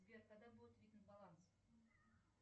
сбер когда будет видно баланс